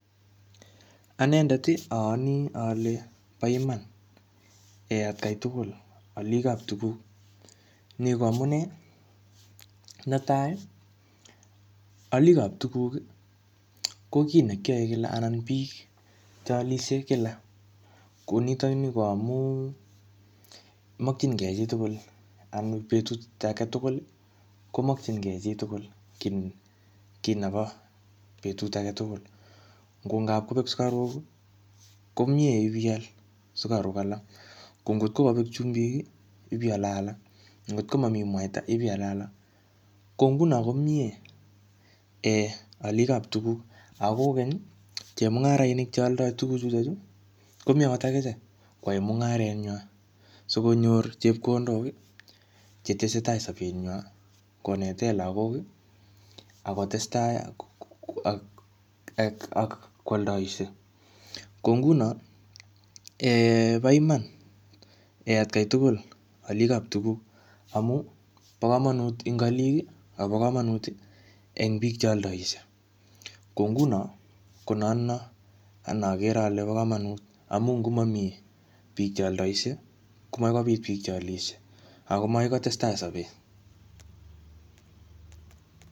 Anendet, ayani ale po iman um atakai tugul, alikap tuguk. Ni ko amunee. Netai, alikap tuguk, ko kiy ne kiyae kila anan biik che alisie kila. Ko nitokni ko amuu makchinkey chi tugul anan betut age tugul, komakchinke chi tugul kiy-kiy nebo betut age tugul. Ngo kapkobek sukaruk, ko miee ipial sukaruk alak. Ko ngotko kabek chumbik, ipiale alak. Ngotko mamii mwaita, ipiale alak .Ko nguno ko mie um alikap tuguk. Ako kokeny, chemung'arainik che aldoi tuguk chutochu, komeche akichek koae mungaret nywa, sikonyor chepkondok che tesetai sapet nywa, konete lagok, akotestai ak-ak-ak-ak kwaldoisie. Ko nguno, um po iman, atkai tugul alikap tuguk. Amu po komonut ing alik, akopa komonut eng biik che aldsie. Ko nguno, ko notono ne agere bo komonut. Amu ngomami biik che aldoisie, komamii biik che alisie. Ako makoi kotestai sapet.